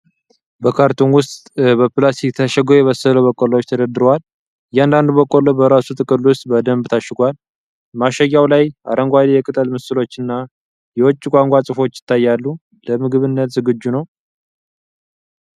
በካርቶን ሳጥን ውስጥ በፕላስቲክ የታሸጉ የበሰሉ በቆሎዎች ተደርድረዋል። እያንዳንዱ በቆሎ በራሱ ጥቅል ውስጥ በደንብ ታሽጓል። ማሸጊያው ላይ አረንጓዴ የቅጠል ምስሎችና የውጪ ቋንቋ ጽሑፎች ይታያሉ። ለምግብነት ዝግጁ ነው።